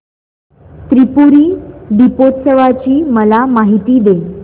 त्रिपुरी दीपोत्सवाची मला माहिती दे